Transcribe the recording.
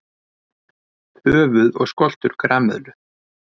Höfuð og skoltur grameðlu.